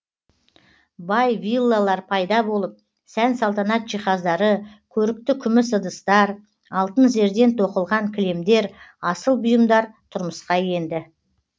бай виллалар пайда болып сән салтанат жиһаздары көрікті күміс ыдыстар алтын зерден тоқылған кілемдер асыл бұйымдар тұрмысқа енді